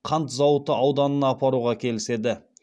қант зауыты ауданына апаруға келіседі